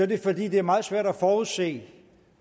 det fordi det er meget svært at forudse